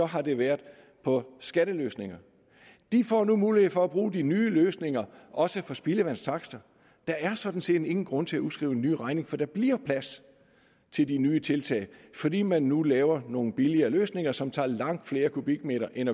har det været på skatteløsninger de får nu mulighed for at bruge de nye løsninger også for spildevandstakster der er sådan set ingen grund til at udskrive en ny regning for der bliver plads til de nye tiltag fordi man nu laver nogle billigere løsninger som tager langt flere kubikmeter end